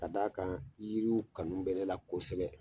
Ka d'a kan yiriw kanu bɛ ne la kosɛbɛ.